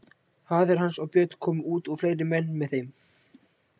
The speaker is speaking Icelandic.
Faðir hans og Björn komu út og fleiri menn með þeim.